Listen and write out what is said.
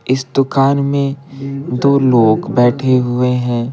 इस दुकान में दो लोग बैठे हुए हैं।